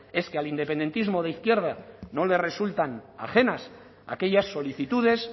es que al independentismo de izquierda no le resultan ajenas aquellas solicitudes